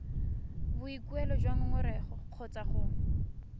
boikuelo jwa ngongorego kgotsa go